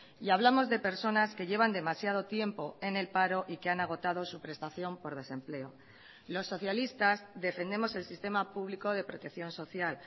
y hablamos de personas que llevan demasiado tiempo en el paro y que han agotado su prestación por desempleo los socialistas defendemos el sistema público de protección social